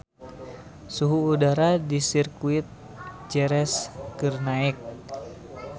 Suhu udara di Sirkuit Jerez keur naek